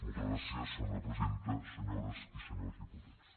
moltes gràcies senyora presidenta senyores i senyors diputats